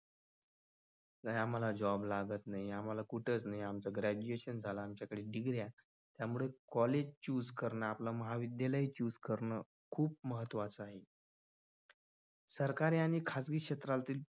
आणि आम्हाला job लागत नाही आम्हाला कुठेच नाही आमच्या graduation झालं आमच्याकडे degree या आहेत त्यामुळे college choose करणं हे आपलं महाविद्यालय choose करणं खूप महत्त्वाचं असतं. सरकारी आणि खाजगी क्षेत्रातील